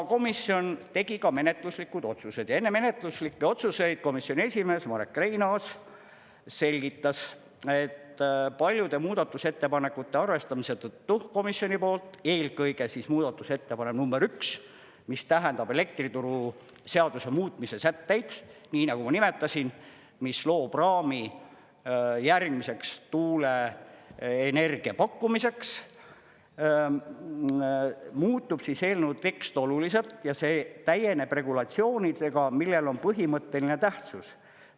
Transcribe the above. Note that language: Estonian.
Komisjon tegi ka menetluslikud otsused ja enne menetluslikke otsuseid komisjoni esimees Marek Reinaas selgitas, et paljude muudatusettepanekute arvestamise tõttu komisjoni poolt, eelkõige siis muudatusettepanek number üks, mis tähendab elektrituruseaduse muutmise sätteid, nii nagu ma nimetasin, mis loob raami järgmiseks tuuleenergia pakkumiseks, muutub eelnõu tekst oluliselt ja see täieneb regulatsioonidega, millel on põhimõtteline tähtsus.